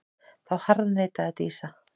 Þá harðneitaði Dísa.